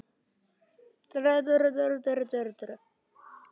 Brynfríður, hækkaðu í græjunum.